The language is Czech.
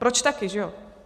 Proč taky, že jo?